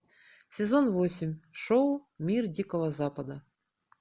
сезон восемь шоу мир дикого запада